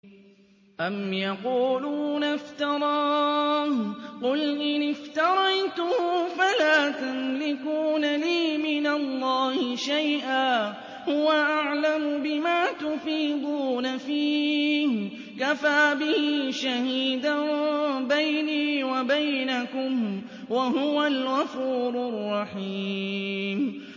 أَمْ يَقُولُونَ افْتَرَاهُ ۖ قُلْ إِنِ افْتَرَيْتُهُ فَلَا تَمْلِكُونَ لِي مِنَ اللَّهِ شَيْئًا ۖ هُوَ أَعْلَمُ بِمَا تُفِيضُونَ فِيهِ ۖ كَفَىٰ بِهِ شَهِيدًا بَيْنِي وَبَيْنَكُمْ ۖ وَهُوَ الْغَفُورُ الرَّحِيمُ